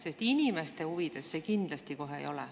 Sest inimeste huvides see kohe kindlasti ei ole.